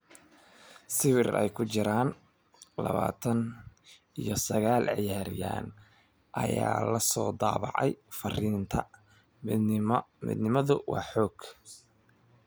Sawir ay ku jiraan labatan iyo sagal ciyaaryahan ayaa la daabacay fariinta "Midnimadu waa xoog."